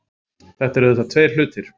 Þetta eru auðvitað tveir hlutir